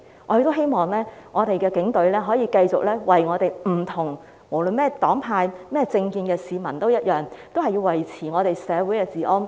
我希望警隊可以繼續為不同黨派和政見的市民服務，維持社會治安。